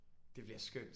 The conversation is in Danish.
Det bliver skønt